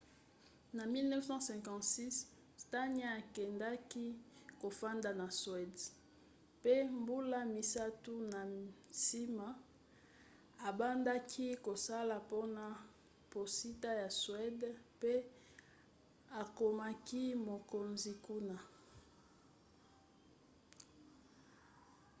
na 1956 słania akendaki kofanda na suède pe mbula misato na nsima abandaki kosala mpona posita ya suéde pe akomaki mokonzi kuna